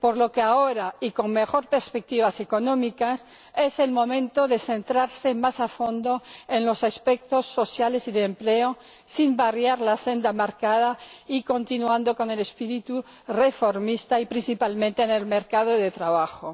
Por lo que ahora, con mejores perspectivas económicas, es el momento de centrarse más a fondo en los aspectos sociales y de empleo ―sin variar la senda marcada y continuando con el espíritu reformista― y, principalmente, en el mercado de trabajo.